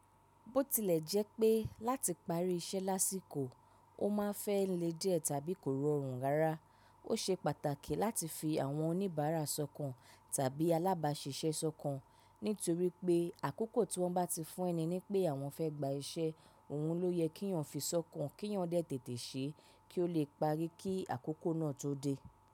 Bó tilẹ̀ jẹ́ pé láti parí iṣẹ́ lásìkò, o máa ń fẹ́ le díẹ̀ tàbí kò rọrùn rárá, ó ṣe pàtàkì láti fi àwọn oníbàárà sọ̀kan tàbí alábàáṣiṣẹ́ sọ̀kan. Nítorí pé àkókò tí wọ́n bá ti fún ẹni ní pé àwọn fẹ́ gba iṣẹ́, òun ló yẹ kíyàn fi sọ́kàn kíyàn dẹ́ tètè ṣe é kí o lè parí kí àkókò náà tó dé.